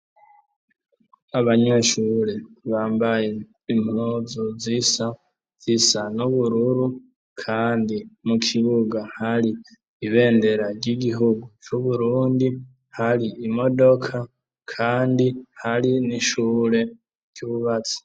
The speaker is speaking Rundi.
Abanyeshuri bambaye impuzu zisa n'ubururu Kandi mu Kibuga hari ibendera ry'igihugu cu Burundi hari imodoka Kandi hari n’ishure ryubatse.